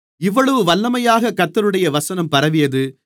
இவ்வளவு வல்லமையாக கர்த்தருடைய வசனம் பரவியது